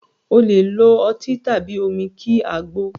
O lè lo ọtí tàbí omi kí àgbo